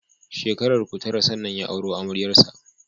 Shekararku Tara sannan ya auro amaryar sa